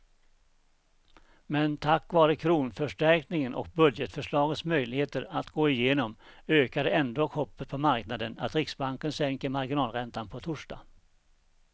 Men tack vare kronförstärkningen och budgetförslagets möjligheter att gå igenom ökade ändå hoppet på marknaden att riksbanken sänker marginalräntan på torsdag.